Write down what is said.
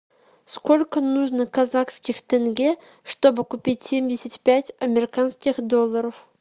сколько нужно казахских тенге чтобы купить семьдесят пять американских долларов